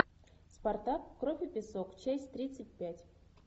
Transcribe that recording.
спартак кровь и песок часть тридцать пять